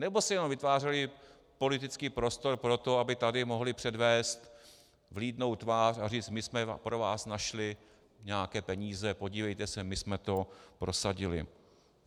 Nebo si jenom vytvářeli politický prostor pro to, aby tady mohli předvést vlídnou tvář a říct: my jsme pro vás našli nějaké peníze, podívejte se, my jsme to prosadili?